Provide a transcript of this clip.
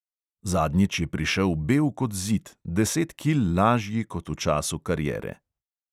Zadnjič je prišel bel kot zid, deset kil lažji kot v času kariere.